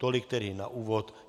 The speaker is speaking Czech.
Tolik tedy na úvod.